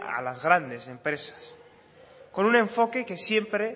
a las grandes empresas con un enfoque que siempre